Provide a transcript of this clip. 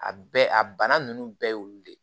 A bɛɛ a bana nunnu bɛɛ ye olu de ye